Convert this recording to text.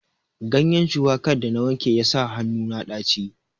Ganyen shuwakar da na wanke ya sa hannu na ɗaci.